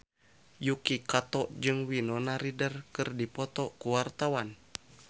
Yuki Kato jeung Winona Ryder keur dipoto ku wartawan